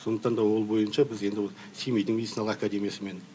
сондықтан да ол бойынша біз енді ол семейдің медицина академисымен